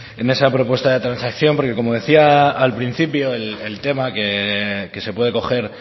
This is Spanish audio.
en esa propuesta de transacción porque como decía al principio el tema que se puede coger